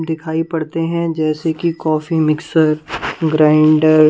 दिखाई पड़ते हैं जैसे कि कॉफी मिक्सर ग्राइंडर --